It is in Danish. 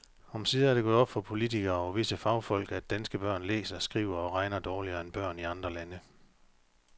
Omsider er det gået op for politikere og visse fagfolk, at danske børn læser, skriver og regner dårligere end børn i andre lande.